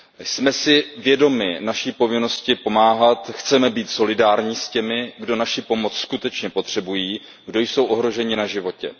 Jsme si vědomi naší povinnosti pomáhat, chceme být solidární s těmi, kdo naší pomoc skutečně potřebují, kdo jsou ohroženi na životě.